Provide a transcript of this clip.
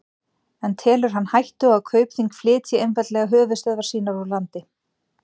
En telur hann hættu á að Kaupþing flytji einfaldlega höfuðstöðvar sínar úr landi?